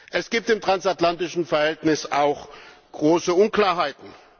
Es gibt im transatlantischen Verhältnis auch große Unklarheiten.